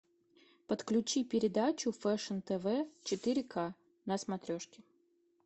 подключи передачу фэшн тв четыре ка на смотрешке